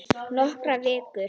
Nokkrar vikur!